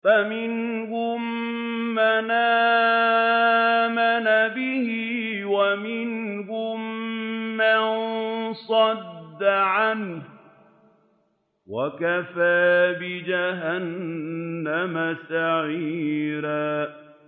فَمِنْهُم مَّنْ آمَنَ بِهِ وَمِنْهُم مَّن صَدَّ عَنْهُ ۚ وَكَفَىٰ بِجَهَنَّمَ سَعِيرًا